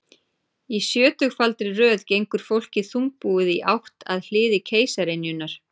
Í sjötugfaldri röð gengur fólkið þungbúið í átt að hliði keisaraynjunnar.